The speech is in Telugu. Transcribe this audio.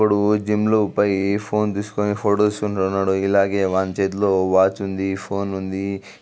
ఒకడు జిమ్ లోకి పాయి ఫోన్ తీస్కుని ఫొటోస్ తీసుకొంటూనాడు. ఇలాగే వాని చేతిలో వాచ్ ఉంది. ఫోన్ ఉంది.